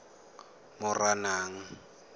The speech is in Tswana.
moranang